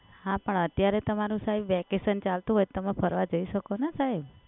હા પણ અત્યારે તમારુ સાહેબ વેકેશન ચાલતું હોય તો તમે ફરવા જઈ શકો ને સાહેબ?